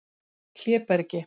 Hlébergi